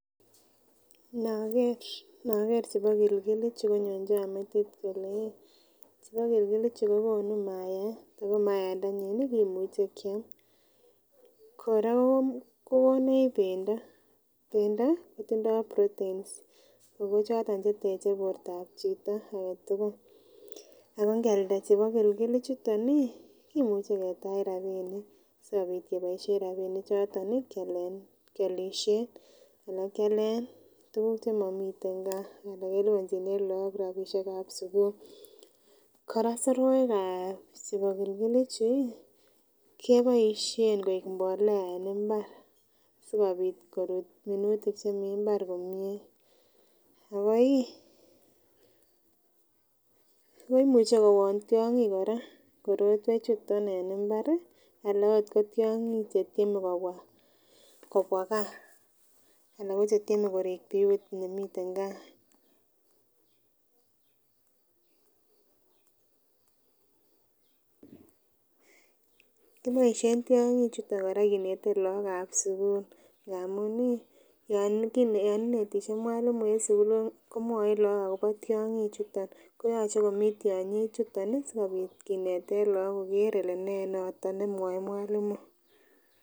Inokere inokere chebogilgil ichu konyonchon metit kole ih chebogilgil ichu kokonu maiyat ako maiyat ndenyin nii imuche kiam. Koraa ko konech pendo netindo proteins ako choton cheteche bortab chito agetukul ako nkialda chebogilgil ichuton nii kimuche ketach rabinik amenoishen rabinik choton nii kialen kiolishen alan kialen tukuk chemomkten gaa ana kelibonchine lok rabishekab sukul. Koraa soroikab chebogilgil ichu ih keboishen koik imbolea en imbar sikopit korut minutik chemii imbar komie akoi akoimuche kowon tyonkik koraa korotwek chuton en imbari ala ot ko tyonkik chetyeme kobwa kobwa gaa alan ko chetyeme korik biut nemiten gaa Kiboishen tyonkik chuton Koraa kinete lok ab sukul ngamun iih yo inetishei mwalimu en sukul komwoin Lok akobo tyonkik chuton koyoche komii tyonkik chuton nii sikopit kineten lok koker kole nee noton nemwoe mwalimu.